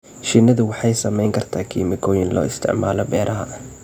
Shinnidu waxay saamayn kartaa kiimikooyinka loo isticmaalo beeraha.